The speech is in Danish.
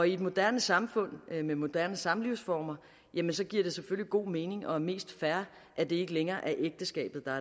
i et moderne samfund med moderne samlivsformer giver det selvfølgelig god mening og er mest fair at det ikke længere er ægteskabet der